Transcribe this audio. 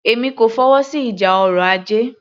Èmi kò fọwọ́sí ìjà ọrọ̀ ajé